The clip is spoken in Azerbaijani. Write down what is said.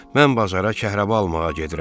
Mən bazara kəhraba almağa gedirəm.